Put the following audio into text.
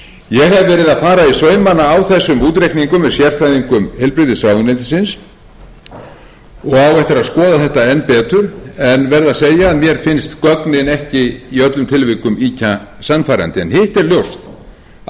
ég hef verið að fara í saumana á þessum útreikningum með sérfræðingum heilbrigðisráðuneytisins og á eftir að skoða þetta enn betur en verð að segja að mér finnst gögnin ekki í öllum tilvikum ýkja sannfærandi en hitt er ljóst að